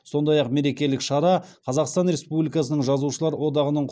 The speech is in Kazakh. сондай ақ мерекелік шара қазақстан рнспубликасының жазушылар одағының